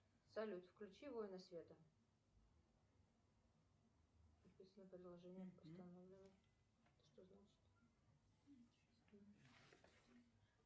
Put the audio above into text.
салют включи воины света